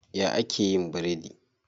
Ya ake yin biredi?